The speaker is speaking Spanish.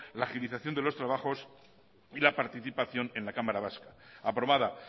la agilización de los trabajos y la participación en la cámara vasca aprobada